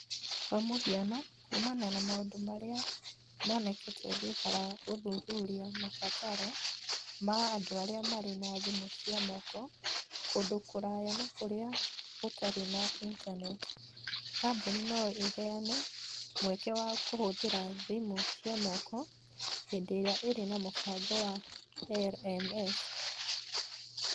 Kwa mũhiano , kuumana na maũndũ marĩa monekete thutha wa gũthuthuria mabataro ma andũ arĩa marĩ na thimũ cia moko kũndũ kũraya na kũrĩa gũtarĩ na intaneti, kambuni no ĩheane mweke wa kũhũthĩra thimũ cia moko hĩndĩ ĩrĩa ĩrĩ na mũbango wa LMS